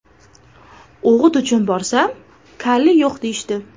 O‘g‘it uchun borsam, kaliy yo‘q, deyishdi.